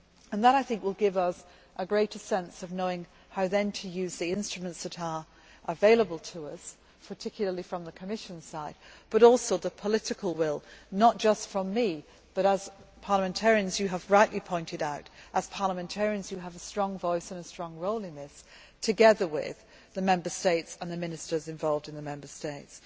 That I think will give us a greater sense of knowing how then to use the instruments that are available to us, particularly from the Commission side but also a sense of the political will, not just from me, but as you have rightly pointed out as parliamentarians you have a strong voice and a strong role in this, together with the Member States and the ministers involved in the Member States.